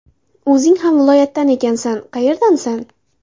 O‘zing ham viloyatdan ekansan, qayerdansan?